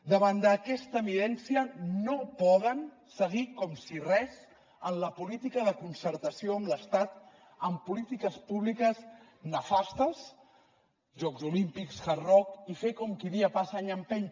davant d’aquesta evidència no poden seguir com si res en la política de concertació amb l’estat en polítiques públiques nefastes jocs olímpics hard rock i fer com qui dia passa any empeny